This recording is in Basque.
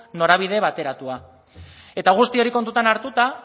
norabide bateratua eta guzti hori kontutan hartuta